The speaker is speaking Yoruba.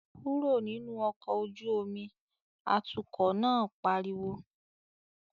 "Kúrò nínú ọkọ̀ ojú omi!", atukọ̀ náà pariwo